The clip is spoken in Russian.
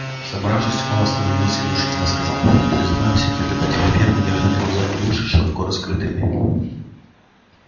собравшись он остановился и внушительно сказал я призываю всех обитателей фермы держать глаза и уши широко раскрытыми